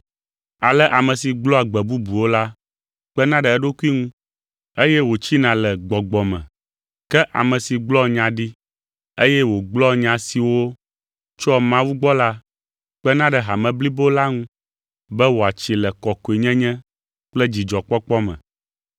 Ale ame si “gblɔa gbe bubuwo” la kpena ɖe eɖokui ŋu, eye wòtsina le gbɔgbɔ me, ke ame si gblɔa nya ɖi, eye wògblɔa nya siwo tsoa Mawu gbɔ la kpena ɖe hame blibo la ŋu be wòatsi le kɔkɔenyenye kple dzidzɔkpɔkpɔ me.